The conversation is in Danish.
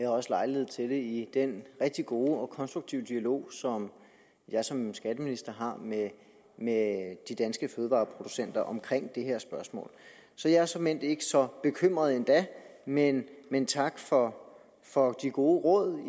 har også lejlighed til det i den rigtig gode og konstruktive dialog som jeg som skatteminister har med med de danske fødevareproducenter om det her spørgsmål så jeg er såmænd ikke så bekymret endda men men tak for for de gode råd